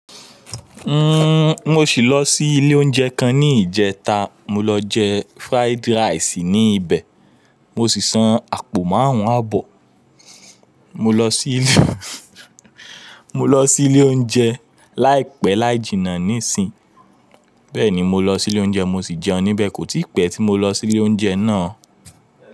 Uhm, mo ṣì lọ sí ilé oúnjẹ kan ní ìjẹta. Mo lọ jẹ fried rice ní ibẹ̀, mo sì san àpò márùn-ún àbọ̀. Mo lọ sí Mo lọ sí ilé oúnjẹ láìpẹ́ láì jìnnà níìsín, bẹ́ẹ̀ ni mo lọ sí ilé oúnjẹ, mo sì jẹun níbẹ̀. Kò tí pẹ́ tí mo lọ sí ilé oúnjẹ náà.